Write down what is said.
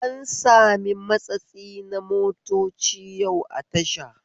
An sami matsatsi na motoci yau a tasha